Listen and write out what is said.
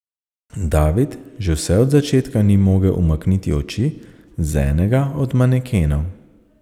David že vse od začetka ni mogel umakniti oči z enega od manekenov.